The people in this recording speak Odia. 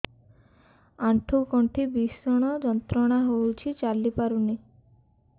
ଆଣ୍ଠୁ ଗଣ୍ଠି ଭିଷଣ ଯନ୍ତ୍ରଣା ହଉଛି ଚାଲି ପାରୁନି